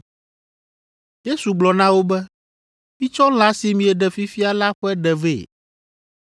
Yesu gblɔ na wo be, “Mitsɔ lã si mieɖe fifia la ƒe ɖe vɛ.”